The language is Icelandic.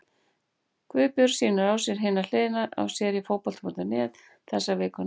Guðbjörg sýnir á sér Hina hliðina hér á Fótbolti.net þessa vikuna.